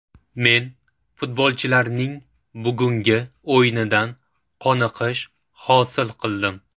Men futbolchilarning bugungi o‘yinidan qoniqish hosil qildim.